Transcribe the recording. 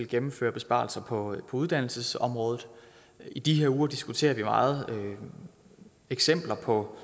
gennemføre besparelser på uddannelsesområdet i de her uger diskuterer vi meget eksempler på